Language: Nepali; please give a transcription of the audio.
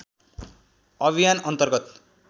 अभियान अन्तर्गत